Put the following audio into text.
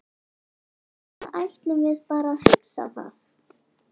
Eða ætlum við bara að hugsa það?